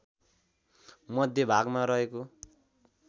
मध्य भागमा रहेको